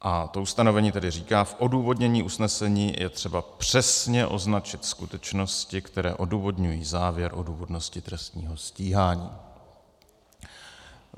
A to ustanovení tedy říká: V odůvodnění usnesení je třeba přesně označit skutečnosti, které odůvodňují závěr o důvodnosti trestního stíhání.